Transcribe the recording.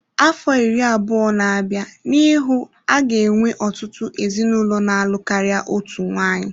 Afọ iri abụọ na-abịa n'ihu a ga-enwe ọtụtụ ezinụlọ na-alụ karịa otu nwanyị.